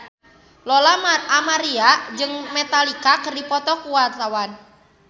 Lola Amaria jeung Metallica keur dipoto ku wartawan